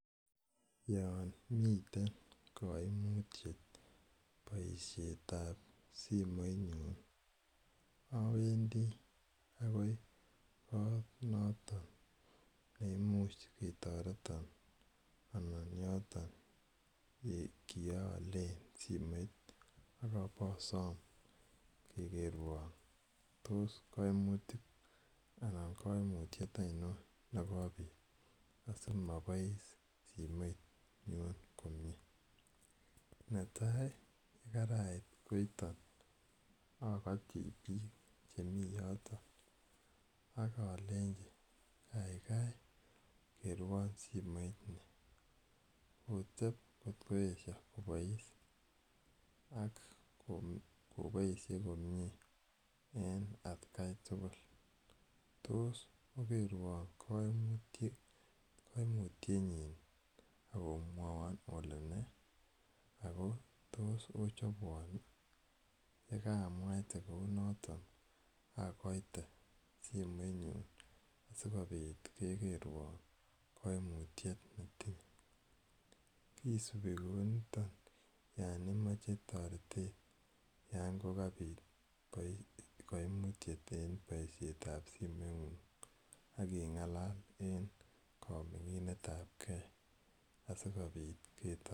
Yan mitei kaimitiet poishet ap simoitnyun awendi akoi koot noton ne imuch ketaretan anan yoton ye kiaale simoit ak ipasam kekerwan tos kaimutik acichon anan ko kaimutiet ainon ne kopit asimapois simoinyun komye. Netai ko karait koiton akati piik che yoton ak alenchi kaikai kerwan simoit ni, kotep kot koesha kopias ak kopaishe komye en atkan tugul ,tos okerwan kaimutienyin ak omwaimwa ole nee? Ako tos ochopwan i? Ye kaamwaite kou non i, akaite simoinyun asikopit kekerwa kaimutiet ne tinye. Kisupi kou niton yan imache taret yan kapit kaimutiet en poishet ap simeng'ung' ak ing'alal en ka ming'inet ap gei asikopit ketaretin.